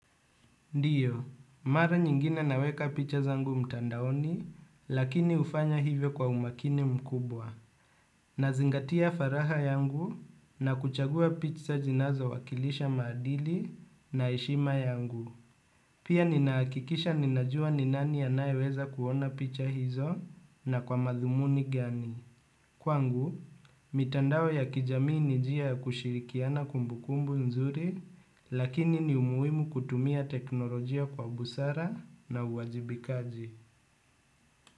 Ndiyo, mara nyingine naweka picha zangu mtandaoni, lakini ufanya hivyo kwa umakini mkubwa. Nazingatia faraha yangu na kuchagua picha zinazo wakilisha maadili na eshima yangu. Pia ninaakikisha ninajua ni nani anaye weza kuona picha hizo na kwa madhumuni gani. Kwangu, mitandao ya kijamii ni jia ya kushirikiana kumbukumbu nzuri, lakini ni umuimu kutumia teknolojia kwa busara na uwajibikaji.